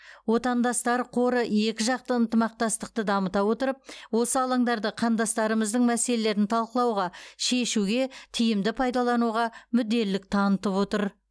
отандастар қоры екіжақты ынтымақтастықты дамыта отырып осы алаңдарды қандастарымыздың мәселелерін талқылауға шешуге тиімді пайдалануға мүдделілік танытып отыр